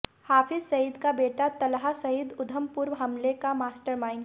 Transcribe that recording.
हाफिज़ सईद का बेटा तल्हा सईद उधमपुर हमले का मास्टरमाइंड